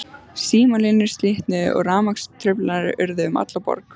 Símalínur slitnuðu og rafmagnstruflanir urðu um alla borg.